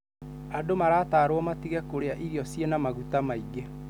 Andũ maratarwo matige kũrĩa irio ciĩna maguta maingi.